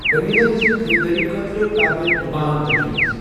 قمیضن ہٕنٛزِ خریدٲری خٲطرٕ کر مے کینٛہہ دوکان تجویز ۔